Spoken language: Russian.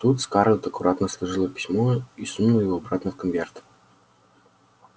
тут скарлетт аккуратно сложила письмо и сунула его обратно в конверт